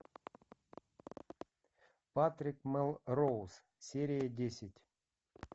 патрик мелроуз серия десять